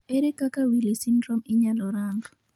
Ere kaka Wili syndrome inyalo rang